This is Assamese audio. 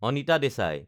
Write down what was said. অনিতা দেচাই